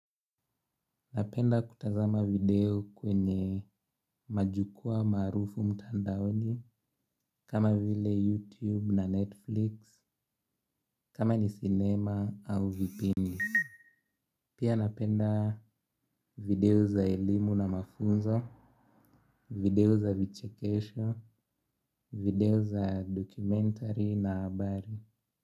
Napenda kutazama video kwenye majukwaa maarufu mtandaoni. Kama vile YouTube na Netflix Kama ni cinema au vipindi pia napenda video za elimu na mafunzo. Video za vichekesho. Video za documentary na habari.